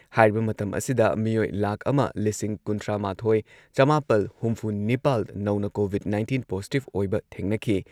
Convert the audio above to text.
ꯍꯥꯏꯔꯤꯕ ꯃꯇꯝ ꯑꯁꯤꯗ ꯃꯤꯑꯣꯏ ꯂꯥꯈ ꯑꯃ ꯂꯤꯁꯤꯡ ꯀꯨꯟꯊ꯭ꯔꯥꯃꯥꯊꯣꯏ ꯆꯃꯥꯄꯜ ꯍꯨꯝꯐꯨꯅꯤꯄꯥꯜ ꯅꯧꯅ ꯀꯣꯚꯤꯗ ꯅꯥꯏꯟꯇꯤꯟ ꯄꯣꯖꯤꯇꯤꯚ ꯑꯣꯏꯕ ꯊꯦꯡꯅꯈꯤ ꯫